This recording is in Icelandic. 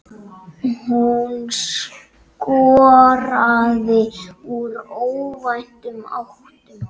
Hún skoraði úr óvæntum áttum.